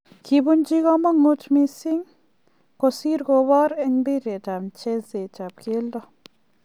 Kibuchi komonuut mising' kosir kobor en mpiret ab mcheseet ab keldo.